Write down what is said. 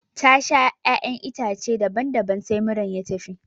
Ta sha ƴaƴan itace daban daban sai muran ya tafi